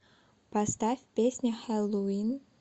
поставь песня хэллоуин